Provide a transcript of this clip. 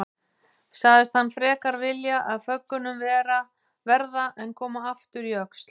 Sagðist hann frekar vilja af föggunum verða en koma aftur í Öxl.